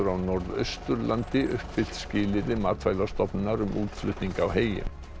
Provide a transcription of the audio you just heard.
Norðausturlandi uppfyllt skilyrði Matvælastofnunar um útflutning á heyi